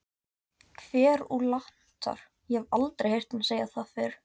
Kverúlantar- ég hef aldrei heyrt hana segja það fyrr.